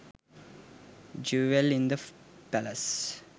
jewell in the palace